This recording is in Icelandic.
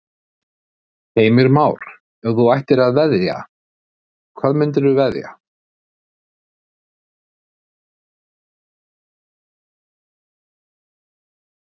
Heimir Már: Ef þú ættir að veðja, hvað myndirðu veðja?